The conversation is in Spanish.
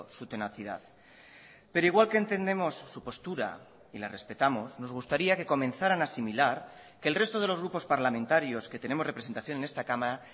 su tenacidad pero igual que entendemos su postura y la respetamos nos gustaría que comenzaran a asimilar que el resto de los grupos parlamentarios que tenemos representación en esta cámara